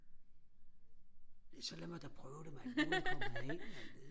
så lad mig da prøve dem mand nu er jeg kommet herind mand